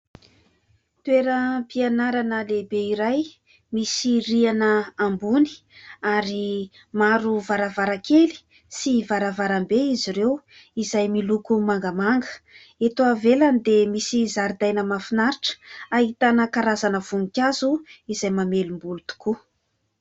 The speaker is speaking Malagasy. Toeram-pianarana lehibe iray. Misy riana ambony ary maro varavarakely sy varavarambe izy ireo izay miloko mangamanga. Eto ivelany dia misy zaridaina mafinaritra, ahitana karazana voninkazo izay mamelom-boly tokoa.